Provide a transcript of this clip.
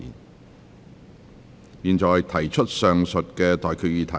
我現在向各位提出上述待決議題。